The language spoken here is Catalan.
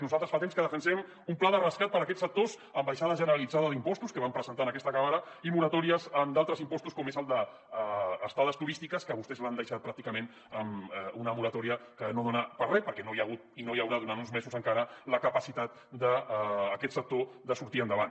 nosaltres fa temps que defensem un pla de rescat per a aquests sectors amb baixada generalitzada d’impostos que vam presentar en aquesta cambra i moratòries en d’altres impostos com és el de estades turístiques que vostès l’han deixat pràcticament en una moratòria que no dona per a res perquè no hi ha hagut i no hi haurà durant uns mesos encara la capacitat d’aquest sector de sortir endavant